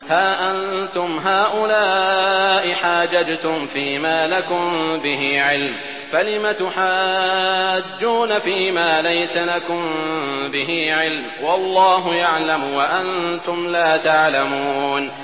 هَا أَنتُمْ هَٰؤُلَاءِ حَاجَجْتُمْ فِيمَا لَكُم بِهِ عِلْمٌ فَلِمَ تُحَاجُّونَ فِيمَا لَيْسَ لَكُم بِهِ عِلْمٌ ۚ وَاللَّهُ يَعْلَمُ وَأَنتُمْ لَا تَعْلَمُونَ